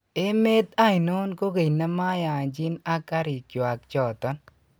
Emet ainon kogeny nemoyanjin ag karikyuak choton.